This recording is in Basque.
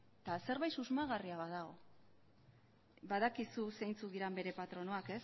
eta zerbait susmagarria badago badakizu zeintzuk diren bere patronoak